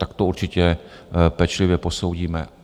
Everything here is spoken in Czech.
Tak to určitě pečlivě posoudíme.